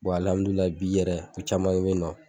alihamidulila bi yɛrɛ u caman be yen nɔn